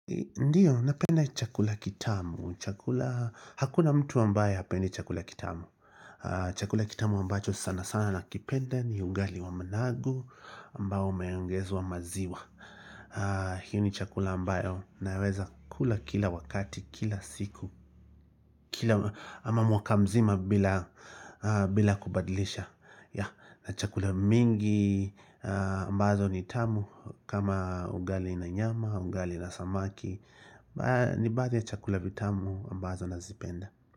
Ndiyo, napenda chakula kitamu, chakula, hakuna mtu ambaye hapendi chakula kitamu Chakula kitamu ambacho sana sana nakipenda ni ugali wa managu ambao umeongezwa maziwa. Hiyo ni chakula ambayo naweza kula kila wakati, kila siku Kila, ama mwaka mzima bila, bila kubadlisha Yeah, na chakula mingi ambazo ni tamu kama ugali na nyama, ugali na samaki ni baadhi ya chakula vitamu ambazo nazipenda.